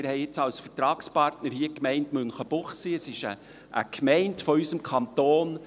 Wir haben als Vertragspartner jetzt die Gemeinde Münchenbuchsee, eine Gemeinde unseres Kantons.